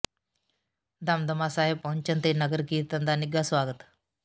ਦਮਦਮਾ ਸਾਹਿਬ ਪਹੁੰਚਣ ਤੇ ਨਗਰ ਕੀਰਤਨ ਦਾ ਨਿੱਘਾ ਸਵਾਗਤ